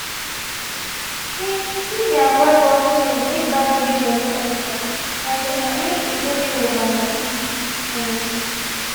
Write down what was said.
he he been avoid rough play make bad behaviour no enter and um make e no de over happy. um